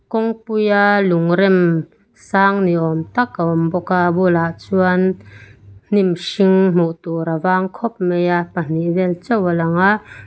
kawngpuia lung rem sang ni awm tak a awm bawk a a bulah chuan hnim hring hmuh tur a vang khawp mai a pahnih vel chauh a lawng a.